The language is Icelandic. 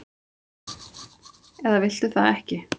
eða viltu það ekki?